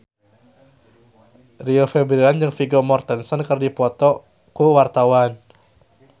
Rio Febrian jeung Vigo Mortensen keur dipoto ku wartawan